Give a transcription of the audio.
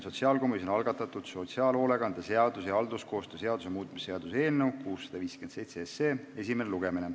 Sotsiaalkomisjoni algatatud sotsiaalhoolekande seaduse ja halduskoostöö seaduse muutmise seaduse eelnõu 657 esimene lugemine.